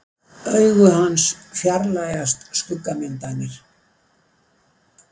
Augu hans fjarlægjast skuggamyndirnar.